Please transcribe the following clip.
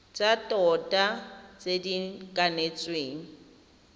tsa tota tse di kanetsweng